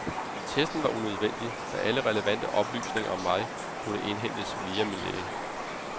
Testen var unødvendig, da alle relevante oplysninger om mig kunne indhentes via min læge.